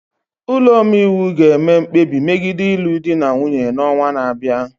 Ụlọ omeiwu ga-eme mkpebi megide ịlụ di na nwunye n'ọnwa na-abịa.